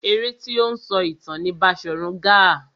Eré tí ó ń sọ ìtàn ni Baṣòrun Gaa.